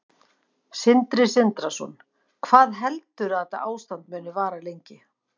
Sindri Sindrason: Hvað heldurðu að þetta ástand muni vara lengi?